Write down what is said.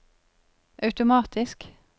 automatisk